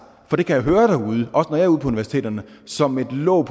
for det kan jeg høre derude også når jeg universiteterne som et låg